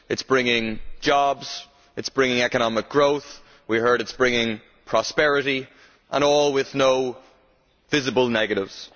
It is bringing jobs, it is bringing economic growth, we have heard it is bringing prosperity, and all with no visible negatives.